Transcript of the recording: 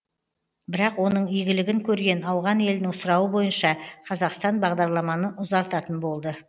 бірақ оның игілігін көрген ауған елінің сұрауы бойынша қазақстан бағдарламаны ұзартатын болды